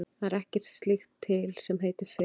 Það er ekkert slíkt til sem heitir fegurð.